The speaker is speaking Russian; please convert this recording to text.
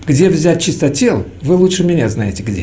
где взять чистотел вы лучше меня знаете где